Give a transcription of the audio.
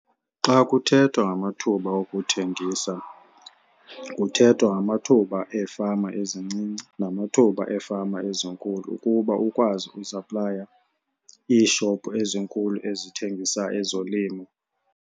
Xa kuthethwa ngamathuba wokuthengisa kuthethwa ngamathuba eefama ezincinci namathuba eefama ezinkulu ukuba ukwazi ukusaplaya iishopu ezinkulu ezithengisa ezolimo.